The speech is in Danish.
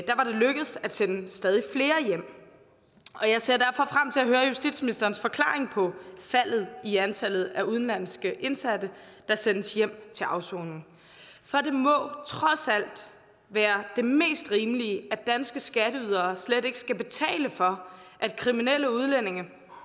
sende stadig flere hjem og jeg ser derfor frem til at høre justitsministerens forklaring på faldet i antallet af udenlandske indsatte der sendes hjem til afsoning for det må trods alt være det mest rimelige at danske skatteydere slet ikke skal betale for at kriminelle udlændinge